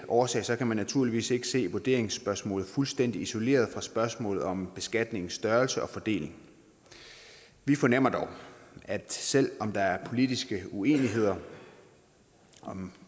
årsag kan man naturligvis ikke se vurderingsspørgsmålet fuldstændig isoleret fra spørgsmålet om beskatningens størrelse og fordeling vi fornemmer dog at selv om der er politiske uenigheder